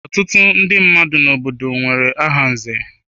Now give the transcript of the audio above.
Ọtụtụ ndị mmadụ n'obodo m nwere aha nze.